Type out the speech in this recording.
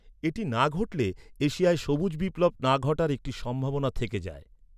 এটি না ঘটলে এশিয়ায় সবুজ বিপ্লব না ঘটার একটি সম্ভাবনা থেকে যায়।